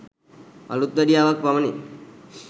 අලුත්වැඩියාවක් පමණි.